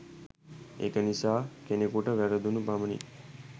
ඒක නිසා කෙනෙකුට වැරදුණු පමණින්